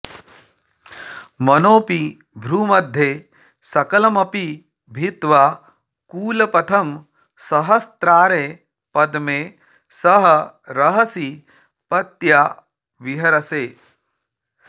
मनोऽपि भ्रूमध्ये सकलमपि भित्वा कुलपथं सहस्रारे पद्मे सह रहसि पत्या विहरसे